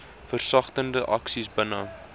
versagtende aksies binne